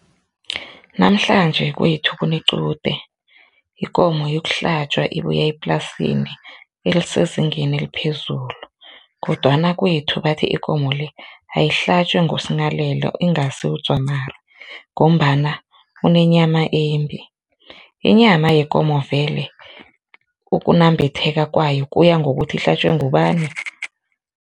Namhlanje kwethu kunequde, ikomo yokuhlatjwa ibuya eplasini elisezingeni eliphezulu kodwana kwethu bathi ikomo le ayihlatjwe nguSinghalela ingasi uDzwamari ngombana unenyama embi, inyama yekomo vele ukunambitheka kwayo kuya ngokuthi ihlatjwe ngubani?